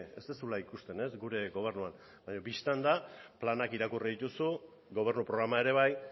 ez duzula ikusten gure gobernuan baina bistan da planak irakurri dituzu gobernu programa ere bai